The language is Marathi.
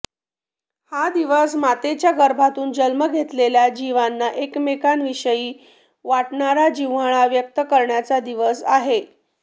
हा दिवस मातेच्या गर्भातून जन्म घेतलेल्या जिवांना एकमेकांविषयी वाटणारा जिव्हाळा व्यक्त करण्याचा दिवस आहे